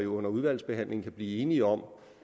under udvalgsbehandlingen kan blive enige om